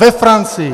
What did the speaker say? Ve Francii!